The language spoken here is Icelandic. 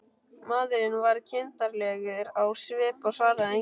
Maðurinn varð kindarlegur á svip og svaraði engu.